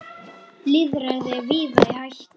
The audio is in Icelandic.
Lýðræði er víða í hættu.